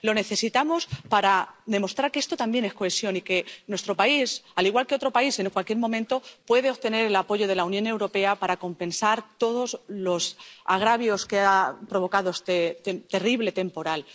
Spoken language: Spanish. Lo necesitamos para demostrar que esto también es cohesión y que nuestro país, al igual que otro país en cualquier momento, puede obtener el apoyo de la Unión Europea para compensar todos los agravios que ha provocado este terrible temporal.